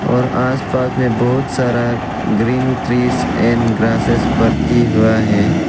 और आस पास में बहोत सारा ग्रीन ट्रीस एंड ग्रासेस बरती हुआ है।